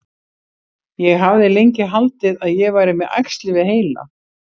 Ég hafði lengi haldið að ég væri með æxli við heila.